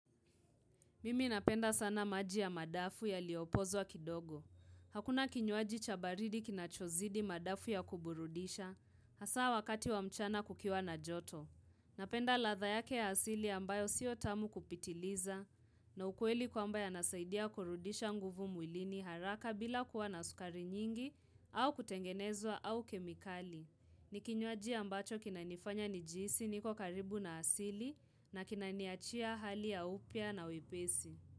Mimi napenda sana maji ya madafu yaliopozwa kidogo. Hakuna kinywaji cha baridi kinachozidi madafu ya kuburudisha, hasaa wakati wa mchana kukiwa na joto. Napenda ladha yake ya asili ambayo sio tamu kupitiliza, na ukweli kwamba yanasaidia kurudisha nguvu mwilini haraka bila kuwa na sukari nyingi, au kutengenezwa au kemikali. Ni kinywaji ambacho kinanifanya nijihisi, niko karibu na asili, na kinaniachia hali ya upya na wepesi.